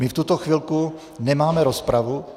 My v tuto chvilku nemáme rozpravu.